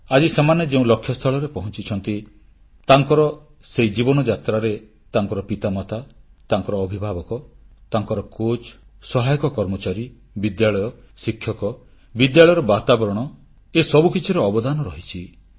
ଆଜି ସେମାନେ ଯେଉଁ ଲକ୍ଷ୍ୟସ୍ଥଳରେ ପହଂଚିଛନ୍ତି ତାଙ୍କର ସେହି ଜୀବନଯାତ୍ରାରେ ତାଙ୍କର ପିତାମାତା ତାଙ୍କର ଅଭିଭାବକ ତାଙ୍କର କୋଚ୍ ସହାୟକ କର୍ମଚାରୀ ବିଦ୍ୟାଳୟ ଶିକ୍ଷକ ବିଦ୍ୟାଳୟର ବାତାବରଣ ଏସବୁ କିଛିର ଅବଦାନ ରହିଛି